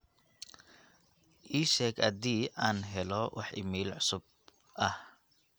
iisheg adii aan helo wax iimayl cusub ah